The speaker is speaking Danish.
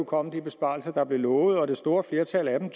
komme de besparelser der blev lovet det store flertal af dem